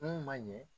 N'o ma ɲɛ